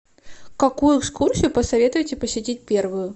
какую экскурсию посоветуете посетить первую